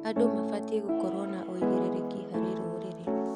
Andũ mabatiĩ gũkorwo na ũigĩrĩrĩki harĩ rũrĩrĩ.